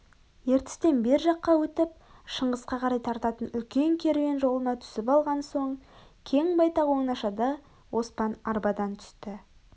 ертістен бер жаққа өтіп шыңғысқа қарай тартатын үлкен керуен жолына түсіп алған соң кең-байтақ оңашада оспан арбадан түсті